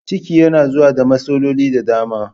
Ciki yana zuwa da matsaloli da dama